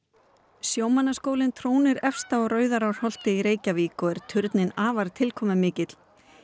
sjómannaskólinn trónir efst á Rauðarárholti í Reykjavík og er turninn afar tilkomumikill